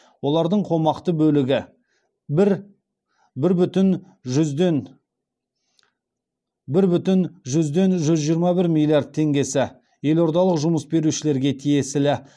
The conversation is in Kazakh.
олардың қомақты бөлігі бір бүтін жүзден жүз жиырма бір миллтард теңгесі елордалық жұмыс берушілерге тиесілі